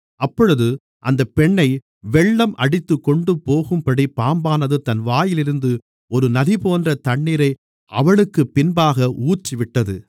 அப்பொழுது அந்தப் பெண்ணை வெள்ளம் அடித்துக்கொண்டுபோகும்படி பாம்பானது தன் வாயிலிருந்து ஒரு நதிபோன்ற தண்ணீரை அவளுக்குப் பின்பாக ஊற்றிவிட்டது